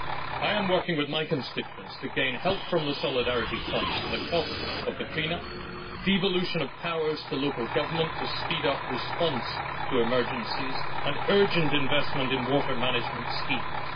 I am working with my constituents to gain help from the Solidarity Fund for the cost of the clean up, devolution of powers to local government to speed up response to emergencies, and urgent investment in water management schemes.